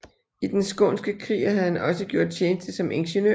I den skånske krig havde han også gjort tjeneste som ingeniør